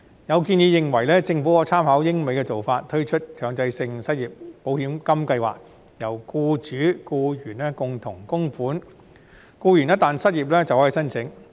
有建議認為，政府可參考英美的做法，推出強制性失業保險金計劃，由僱主和僱員共同供款，僱員一旦失業便可申請。